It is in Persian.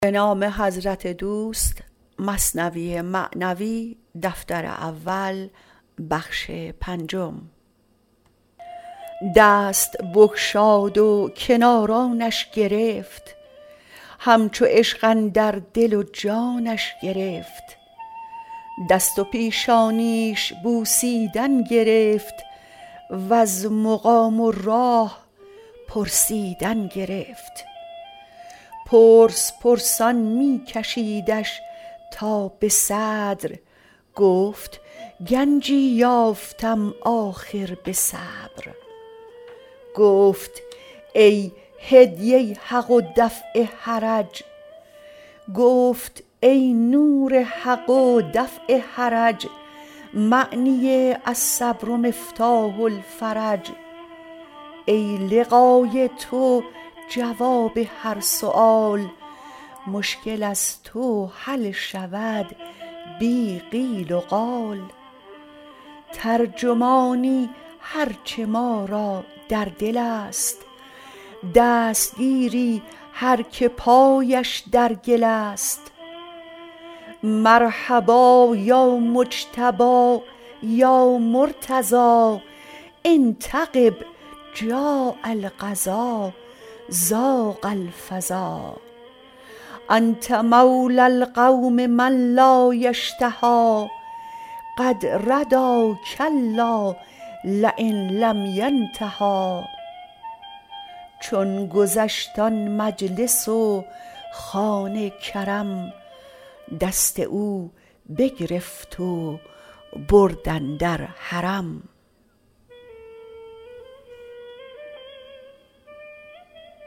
دست بگشاد و کنارانش گرفت همچو عشق اندر دل و جانش گرفت دست و پیشانیش بوسیدن گرفت وز مقام و راه پرسیدن گرفت پرس پرسان می کشیدش تا به صدر گفت گنجی یافتم آخر به صبر گفت ای نور حق و دفع حرج معنی الصبر مفتاح الفرج ای لقای تو جواب هر سؤال مشکل از تو حل شود بی قیل وقال ترجمانی هرچه ما را در دل است دستگیری هر که پایش در گل است مرحبا یا مجتبی یا مرتضی إن تغب جاء القضا ضاق الفضا انت مولی القوم من لا یشتهی قد ردی کلا لین لم ینتهی چون گذشت آن مجلس و خوان کرم دست او بگرفت و برد اندر حرم